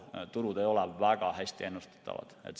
Turud ei ole paraku väga hästi ennustatavad.